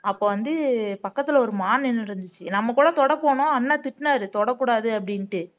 அப்ப வந்து பக்கத்துல ஒரு மான் நின்னுட்டு இருந்துச்சு நம்ம கூட தொட போனோம் அண்ணன் திட்டுனாரு தொடக்கூடாது அப்படின்ட்டு